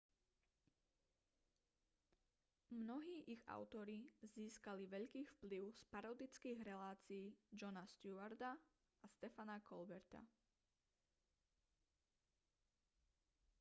mnohí ich autori získali veľký vplyv z parodických relácií jona stewarta a stephena colberta